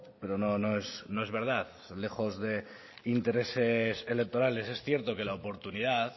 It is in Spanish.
pero no no es verdad lejos de intereses electorales es cierto que la oportunidad